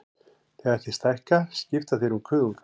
Þegar þeir stækka skipta þeir um kuðunga.